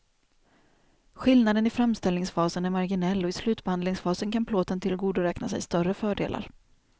Skillnaden i framställningsfasen är marginell och i slutbehandlingsfasen kan plåten tillgodoräkna sig större fördelar.